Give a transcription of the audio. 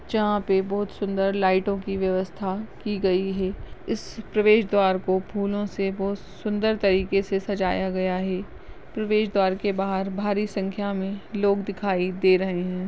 जहां पे बहुत सुंदर लाइटों की व्यवस्था की गई है इस प्रवेश द्वार को फूलों से बहुत सुंदर तरीके से सजाया गया है प्रवेशद्वार के बाहर भारी संख्या में लोग दिखाई दे रहे है।